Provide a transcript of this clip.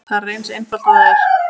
Það er eins einfalt og það er.